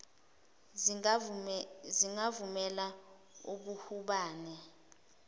zingavumeli ub hubhane